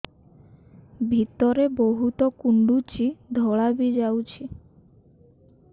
ଭିତରେ ବହୁତ କୁଣ୍ଡୁଚି ଧଳା ବି ଯାଉଛି